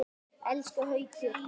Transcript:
Elsku Haukur!